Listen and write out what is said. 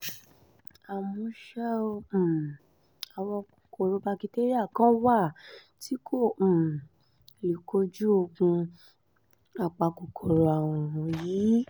àmọ́ ṣá um o àwọn kòkòrò bakitéríà kan wà tí kò um lè kojú oògùn apakòkòrò àrùn yìí